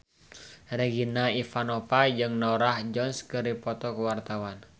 Regina Ivanova jeung Norah Jones keur dipoto ku wartawan